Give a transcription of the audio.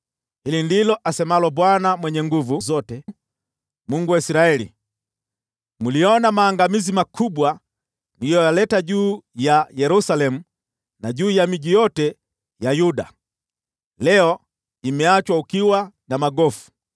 “Hili ndilo asemalo Bwana Mwenye Nguvu Zote, Mungu wa Israeli: Mliona maangamizi makubwa niliyoyaleta juu ya Yerusalemu na juu ya miji yote ya Yuda. Leo imeachwa ukiwa na magofu